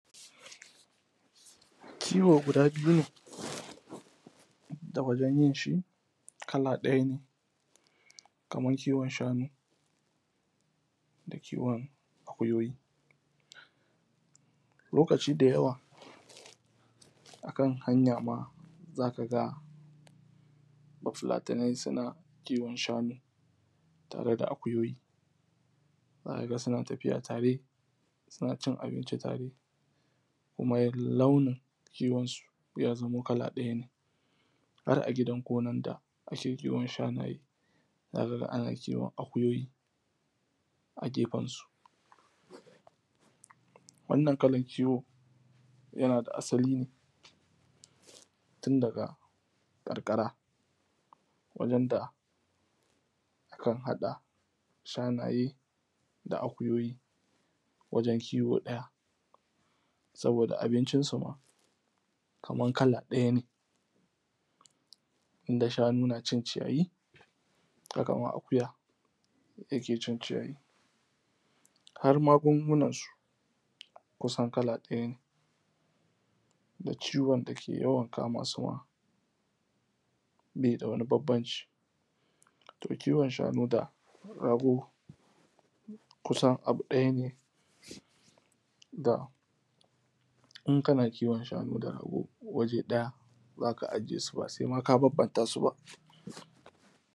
Kiwo guda biyu ne da wajen yin shi kala ɗaya ne, kaman kiwon shanu da kiwon akuyoyi. Lokaci da yawa, akan hanya ma zaka ga bafulatanai suna kiwon shanu tare da akuyoyi. Zaka ga suna tafiya tare, suna cin abinci tare, kuma launin iwon su ya zamo kala ɗaya ne, har a gidan gonar da ake kiwon shanaye zaka ga ana kiwon akuyoyi a gefen su. Wannan kalar kiwonyana da asali ne, tun daga ƙarƙara, wajen da akan haɗa shanaye da akuyoyi wajen kiwo ɗaya, saboda abincin su ma kamar kala ɗaya ne, inda shanu na cin ciyayi, haka ma akuya yake cin ciyayi, har magungunan su kusan kala ɗaya ne da ciwon da ke yawan kama su ma baida wani banbanci. To kiwon shanu da rago kusan abu ɗaya ne, in kana kiwon shanu da rago waje ɗaya zaka aje su, ba sai ma ka banbanta su ba.